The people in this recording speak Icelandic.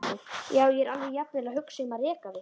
Já, ég var jafnvel að hugsa um að reka þig.